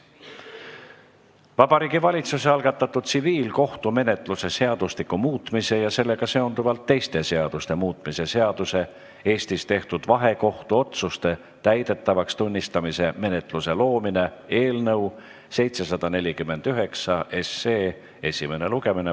Järgmine päevakorrapunkt on Vabariigi Valitsuse tsiviilkohtumenetluse seadustiku muutmise ja sellega seonduvalt teiste seaduste muutmise seaduse eelnõu 749 esimene lugemine.